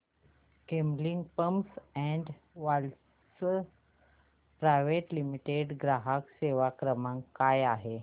Camlin pumps and valves private limited चा ग्राहक सेवा क्रमांक काय आहे